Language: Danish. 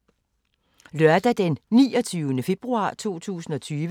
Lørdag d. 29. februar 2020